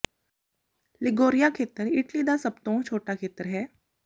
Liguria ਖੇਤਰ Italy ਦਾ ਸਭ ਤੋਂ ਛੋਟਾ ਖੇਤਰ ਹੈ